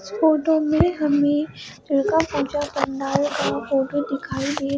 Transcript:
इस फोटो में हमें लड़का फोटो दिखाई दे--